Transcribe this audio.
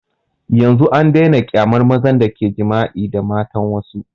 Yanzun an daina kyamar mazan da ke jima'i da matan wassu